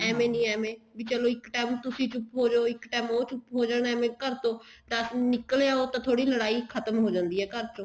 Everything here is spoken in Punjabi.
ਏਵੇਂ ਨੀ ਵੇਂ ਵੀ ਚਲੋ ਇੱਕ time ਤੁਸੀਂ ਚੁੱਪ ਹੋਜੋ ਇੱਕ time ਉਹ ਚੁੱਪ ਹੋਜੇ ਏਵੇਂ ਘਰ ਤੋਂ ਨਿੱਕਲ ਆਓ ਤਾਂ ਥੋੜੀ ਲੜਾਈ ਖਤਮ ਹੋ ਜਾਂਦੀ ਆ ਘਰ ਚੋਂ